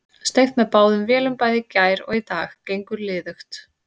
Steypt með báðum vélum bæði í gær og í dag, gengur liðugt.